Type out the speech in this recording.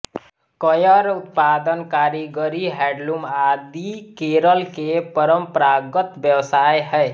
coir उत्पादन कारीगरी handloom आदि केरल के परम्परागत व्यवसाय है